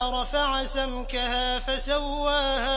رَفَعَ سَمْكَهَا فَسَوَّاهَا